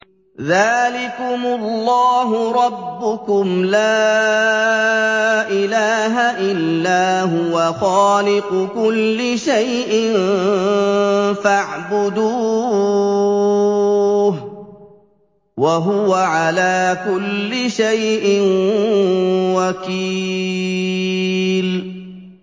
ذَٰلِكُمُ اللَّهُ رَبُّكُمْ ۖ لَا إِلَٰهَ إِلَّا هُوَ ۖ خَالِقُ كُلِّ شَيْءٍ فَاعْبُدُوهُ ۚ وَهُوَ عَلَىٰ كُلِّ شَيْءٍ وَكِيلٌ